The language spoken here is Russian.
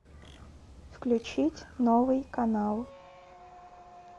включить новый канал